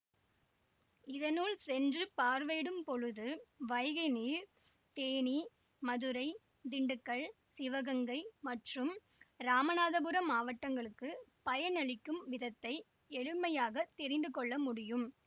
இதனுள் சென்று பார்வையிடும் பொழுது வைகை நீர் தேனி மதுரை திண்டுக்கல் சிவகங்கை மற்றும் இராமநாதபுரம் மாவட்டங்களுக்குப் பயனளிக்கும் விதத்தை எளிமையாகத் தெரிந்து கொள்ள முடியும்